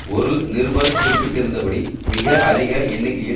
ஒரு நிருபர் குறிப்பிட்டிருந்தபடி மிக அதிக எண்ணிக்கையில்